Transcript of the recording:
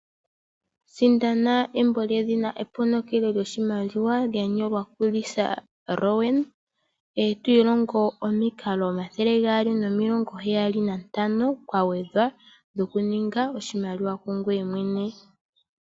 Sindana embo lyedhina "Eponokelo lyoshimaliwa" lya nyolwa ku Lisa Rowan eto ilongo omikalo omathele gaali nomilongoheyali nantano kwagwedhwa, dhokuninga oshimaliwa ku ngoye mwene.